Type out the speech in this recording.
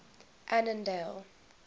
annandale